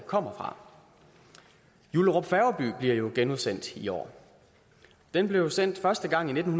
kommer fra jullerup færgeby bliver jo genudsendt i år den blev sendt første gang i nitten